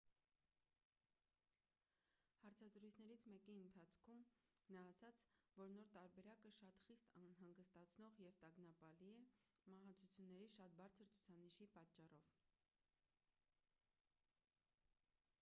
հարցազրույցներից մեկի ընթացքում նա ասաց որ նոր տարբերակը շատ խիստ անհանգստացնող և տագնապալի է մահացությունների շատ բարձր ցուցանիշի պատճառով